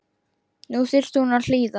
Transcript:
Nú þyrfti hún að hlýða.